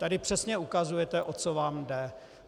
Tady přesně ukazujete, o co vám jde.